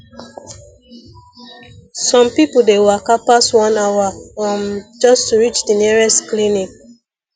some people dey waka pass one hour um just to reach the nearest clinic